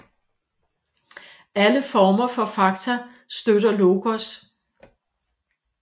Alle former for fakta støtter logos